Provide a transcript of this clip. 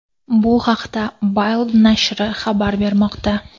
Bu haqida Bild nashri xabar bermoqda.